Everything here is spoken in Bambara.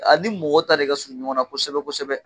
A ni mɔgɔ ta de ka surun ɲɔgɔn na kosɛbɛ kosɛbɛ.